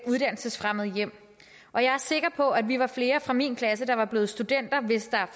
uddannelsesfremmede hjem og jeg er sikker på at vi var flere fra min klasse der var blevet studenter hvis der